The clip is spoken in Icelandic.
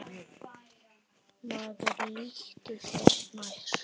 Maður líttu þér nær!